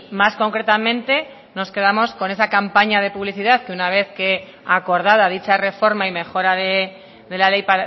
más concretamente nos quedamos con esa campaña de publicidad que una vez que acordada dicha reforma y mejora de la ley